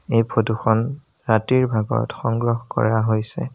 এই ফটো খন ৰাতিৰ ভাগত সংগ্ৰহ কৰা হৈছে।